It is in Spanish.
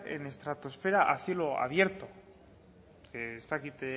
en estratosfera a cielo abierto ez dakit